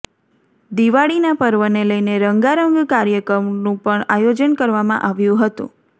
દિવાળીના પર્વને લઈને રંગારંગ કાર્યક્રમનું પણ આયોજન કરવામાં આવ્યું હતુ